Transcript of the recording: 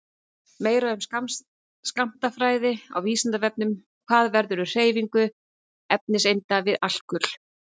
Meira um skammtafræði á Vísindavefnum: Hvað verður um hreyfingar efniseinda við alkul?